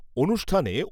অনুষ্ঠানে